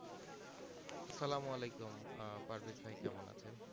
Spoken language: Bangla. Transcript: সালাম আলাইকুম আহ পারভেজ ভাই কেমন আছেন?